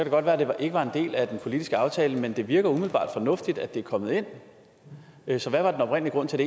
godt være at det ikke var en del af den politiske aftale men det virker umiddelbart fornuftigt at det er kommet ind så hvad var den oprindelige grund til at